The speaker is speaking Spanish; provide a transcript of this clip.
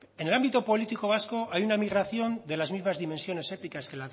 en el ámbito político vasco hay una migración de las mismas dimensiones éticas que